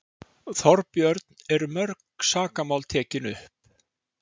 Þorbjörn: Eru mörg sakamál tekin upp?